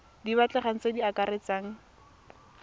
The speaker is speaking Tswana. di batlegang tse di akaretsang